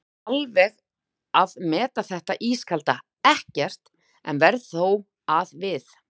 sem alveg að meta þetta ískalda EKKERT, en verð þó að við